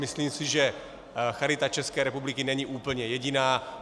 Myslím si, že Charita České republiky není úplně jediná.